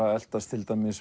að eltast